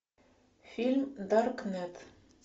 фильм даркнет